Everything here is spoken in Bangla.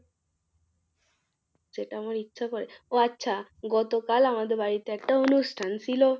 যেটা আমার ইচ্ছা করে ও আচ্ছা, গতকাল আমাদের বাড়িতে একটা অনুষ্ঠান ছিল।